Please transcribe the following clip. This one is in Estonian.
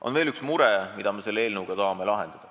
On veel üks mure, mille me selle eelnõuga tahame lahendada.